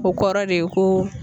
O kɔrɔ de ye ko